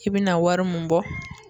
I bina wari mun bɔ